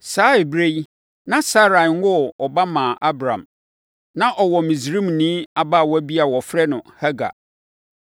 Saa ɛberɛ yi, na Sarai nwoo ɔba mmaa Abram. Na ɔwɔ Misraimni abaawa bi a wɔfrɛ no Hagar;